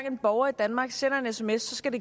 en borger i danmark sender en sms skal